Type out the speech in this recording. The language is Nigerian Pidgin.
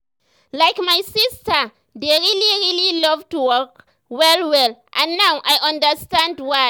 like my sister dey really really love to walk well well and now i understand why.